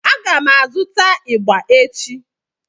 A ga m azụta ịgbà echi.